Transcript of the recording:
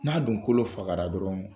N'a dun kolo fagara dɔrɔn